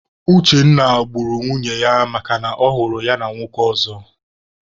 Uchenna gburu nwunye ya makana ọ hụrụ ya na nwoke ọzọ.